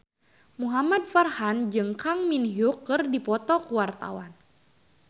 Muhamad Farhan jeung Kang Min Hyuk keur dipoto ku wartawan